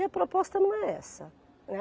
E a proposta não é essa.